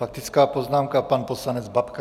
Faktická poznámka, pan poslanec Babka.